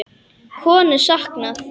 Konu saknað